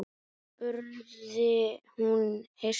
spurði hún hissa.